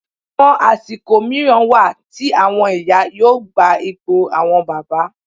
Àwọn àsìkò mìíràn wà tí àwọn ìyá yóò gba ipò àwọn bàbá